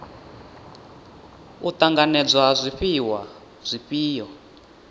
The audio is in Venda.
u ṱanganedzwa ha zwifhiwa zwifhio